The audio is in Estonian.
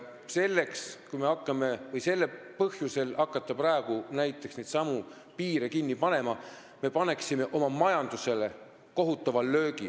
Seega, kui me hakkaksime praegu neidsamu piire kinni panema, siis me annaksime oma majandusele kohutava löögi.